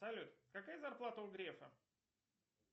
салют какая зарплата у грефа